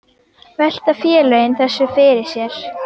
Velta félögin þessu fyrir sér?